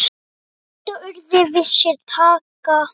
Vita urðir við sér taka.